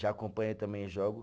Já acompanhei também jogo.